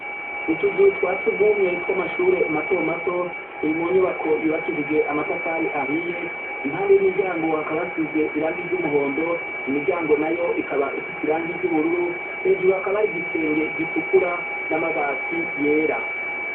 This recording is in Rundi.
Utuzu twa sugumwe twamashure matomato turi munyubako yubakishije amatafari ahiye, impande yimiryango hakaba hasize irangi ryumuhondo, imiryango nayo ikaba ifise irangi ry'ubururu, hejuru hakaba hari igisenge gitukura n'amabati yera.